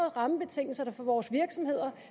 rammebetingelserne for vores virksomheder